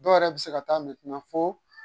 Dɔw yɛrɛ bɛ se ka taa foo